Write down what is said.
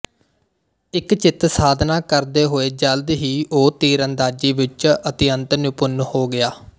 ਇੱਕਚਿੱਤ ਸਾਧਨਾ ਕਰਦੇ ਹੋਏ ਜਲਦ ਹੀ ਉਹ ਤੀਰਅੰਦਾਜ਼ੀ ਵਿੱਚ ਅਤਿਅੰਤ ਨਿਪੁੰਨ ਹੋ ਗਿਆ